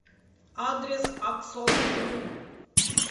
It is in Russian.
адрес аксонру